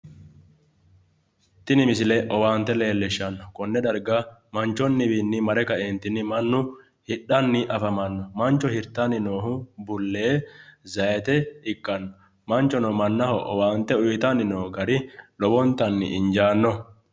Tini misile owaante leellishshanno konne darga manchonniwiinni mare kaentinni mannu hidhanni afamanno mancho hirtanni noohu bullee, zaayiite ikkanno manchono mannaho owaante uyiitanni noo gari lowontanni injaannoho.